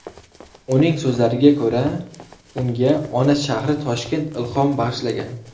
Uning so‘zlariga ko‘ra, unga ona shahri Toshkent ilhom bag‘ishlagan.